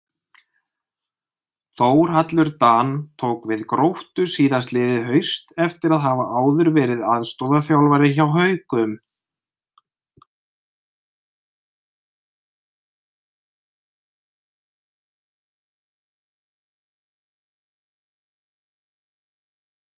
Þórhallur Dan tók við Gróttu síðastliðið haust eftir að hafa áður verið aðstoðarþjálfari hjá Haukum.